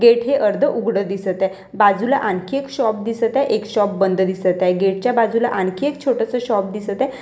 Gate हे अर्ध उघडं दिसत हे बाजूला आणखी एक शॉप दिसत आहे एक शॉप बंद दिसत आहे गेट च्या बाजूला आणखी एक छोटंसं शॉप दिसत आहे.